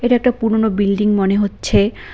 এটা একটা পুরোনো বিল্ডিং মনে হচ্ছে।